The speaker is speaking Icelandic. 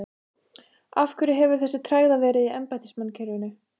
Af hverju hefur þá þessi tregða verið í embættismannakerfinu?